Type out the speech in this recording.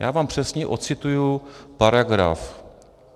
Já vám přesně odcituji paragraf.